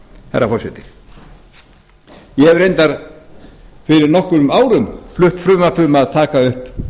herra forseti ég hef reyndar fyrir nokkrum árum flutt frumvarp um að taka upp